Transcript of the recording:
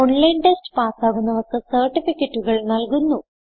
online test പാസ്സാകുന്നവർക്ക് സർട്ടിഫികറ്റുകൾ നല്കുന്നു